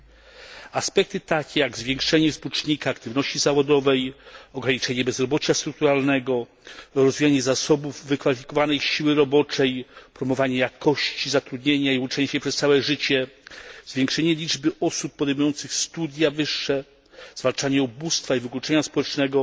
Takie aspekty, jak zwiększenie współczynnika aktywności zawodowej, ograniczenie bezrobocia strukturalnego, rozwijanie zasobów wykwalifikowanej siły roboczej, promowanie jakości zatrudnienia i uczenie się przez całe życie, zwiększenie liczby osób podejmujących wyższe studia, zwalczanie ubóstwa i wykluczenia społecznego